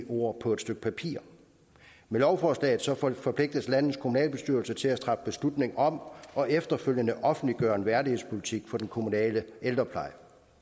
ord på et stykke papir med lovforslaget forpligtes landets kommunalbestyrelser til at træffe beslutning om og efterfølgende offentliggøre en værdigspolitik for den kommunale ældrepleje